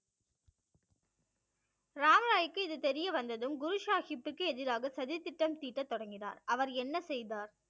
ராம்ராய்க்கு இது தெரியவந்ததும் குருசாகிப்பிற்கு எதிராக சதி திட்டம் தீட்டத் தொடங்கினார். அவர் என்ன செய்தார்?